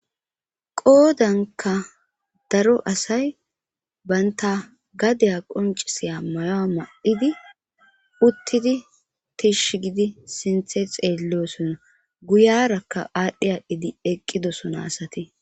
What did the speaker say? Qoodankka daro asay banta gadeya qoncisiya may'o ma'idi uttidi tishi gidi sinththe xeelleosona guyarakka aadhdhi adhdhidi eqqidosona asati